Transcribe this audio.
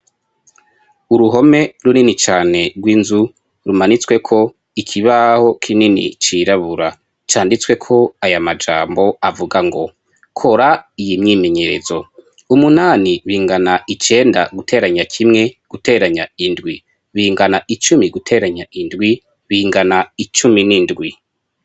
uruhome runini cane rw'inzu rumanitsweko ikibaho kinini cirabura canditsweko aya majambo avuga ngo kora iyi myimenyerezo umunani bingana icenda guteranya kimwe guteranya indwi bingana icumi guteranya indwi bingana icumi n'indwi